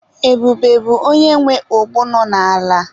Ebube bụ onye nwe ogbo nọ n'ala.